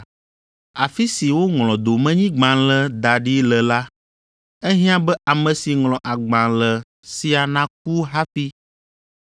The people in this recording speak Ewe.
Afi si woŋlɔ domenyigbalẽ da ɖi le la, ehiã be ame si ŋlɔ agbalẽ sia naku hafi,